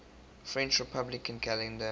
french republican calendar